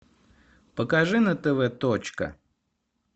покажи на тв точка